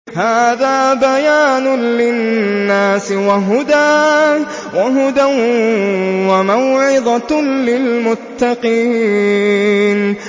هَٰذَا بَيَانٌ لِّلنَّاسِ وَهُدًى وَمَوْعِظَةٌ لِّلْمُتَّقِينَ